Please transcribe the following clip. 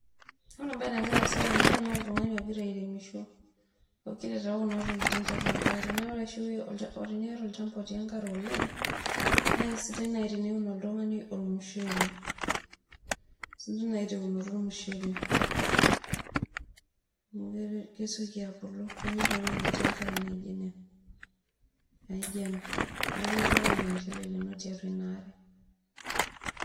Ore embaye nagira aaasa tene naa oltung'ani ogira airemisho ogira aitayu kuna tokitin tiatua enkare naa ore oshi teniata olchamba otii enkare oleng naa keisidai naaji teniun oltung'ani ormushele keisidai naaji teunoto ormushele amu kesioki abulu amu kenyor ewueji natii enkare naijio ina neeku ilotu ake aun ormushele lino tiatua ina aare.